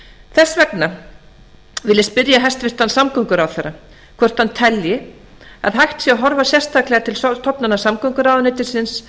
þess vegna vil ég spyrja hæstvirtan samgönguráðherra hvort hann telji að hægt sé að horfa sérstaklega til stofnana samgönguráðuneytisins